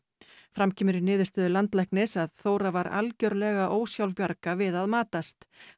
fram kemur í niðurstöðu landlæknis að Þóra var algjörlega ósjálfbjarga við að matast